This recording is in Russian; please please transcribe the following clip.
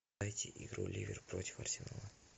найти игру ливер против арсенала